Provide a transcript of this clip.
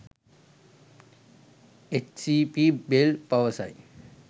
H. C. P. Bell පවසයි.